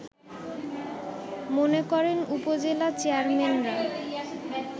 মনে করেন উপজেলা চেয়ারম্যানরা